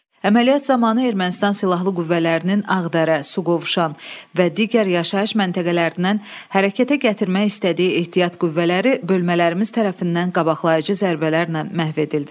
Əməliyyat zamanı Ermənistan silahlı qüvvələrinin Ağdərə, Suqovuşan və digər yaşayış məntəqələrindən hərəkətə gətirmək istədiyi ehtiyat qüvvələri bölmələrimiz tərəfindən qabaqlayıcı zərbələrlə məhv edildi.